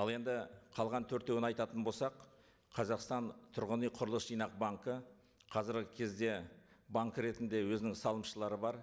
ал енді қалған төртеуін айтатын болсақ қазақстан тұрғын үй құрылыс жинақ банкі қазіргі кезде банк ретінде өзінің салымшылары бар